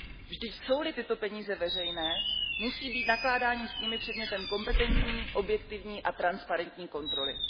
Vždyť jsou li tyto peníze veřejné, musí být nakládání s nimi předmětem kompetentní, objektivní a transparentní kontroly.